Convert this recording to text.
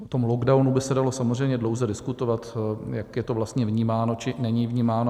O tom lockdownu by se dalo samozřejmě dlouze diskutovat, jak je to vlastně vnímáno či není vnímáno.